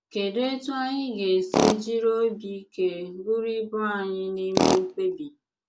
Kedụ etú anyị ga esi jiri obi ike buru ibu anyị n’ime mkpebi?